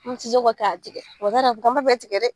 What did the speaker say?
An bɛ kɛ k'a tigɛ k'an b'a bɛɛ tigɛ dɛ!